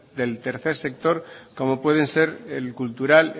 del tercer sector como pueden ser el cultural